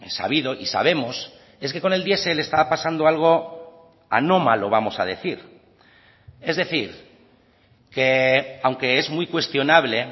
sabido y sabemos es que con el diesel estaba pasando algo anómalo vamos a decir es decir que aunque es muy cuestionable